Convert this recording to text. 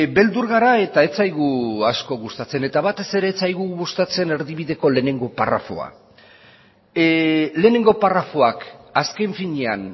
beldur gara eta ez zaigu asko gustatzen eta batez ere ez zaigu gustatzen erdibideko lehenengo parrafoa lehenengo parrafoak azken finean